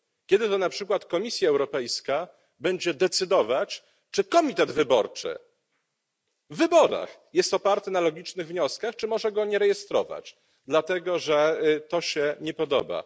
Kiedy to na przykład Komisja Europejska będzie decydować, czy komitet wyborczy w wyborach jest oparty na logicznych wnioskach, czy może go nie rejestrować, dlatego że to się nie podoba?